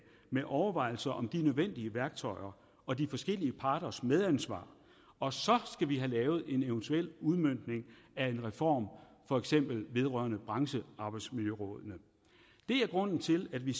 med overvejelser om de nødvendige værktøjer og de forskellige parters medansvar og så skal vi have lavet en eventuel udmøntning af en reform for eksempel vedrørende branchearbejdsmiljørådene det er grunden til at vi